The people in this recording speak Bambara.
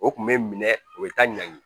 O kun bɛ minɛ o bɛ taa ɲangi